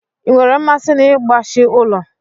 Ị nwere mmasị n'ịgbashi ụlọ?